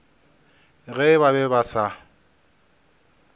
ge ba be ba sa